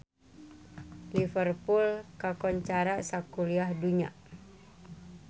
Liverpool kakoncara sakuliah dunya